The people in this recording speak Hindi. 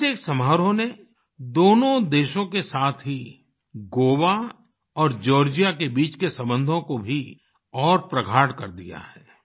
इस एक समारोह ने दोनों देशों के साथ ही गोवा और जॉर्जिया के बीच के संबंधों को भी और प्रगाढ़ कर दिया है